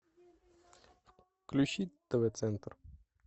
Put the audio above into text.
включи тв центр